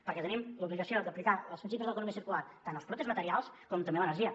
perquè tenim l’obligació d’aplicar els principis de l’economia circular tant als productes materials com a l’energia